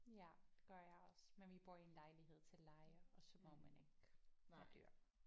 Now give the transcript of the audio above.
Ja det gør jeg også men vi bor i en lejlighed til leje og så må man ikke have dyr